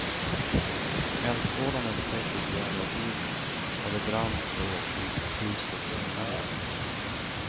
Eldsvådan upptäcktes vid elvatiden och det brann då i husets ena våning.